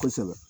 Kosɛbɛ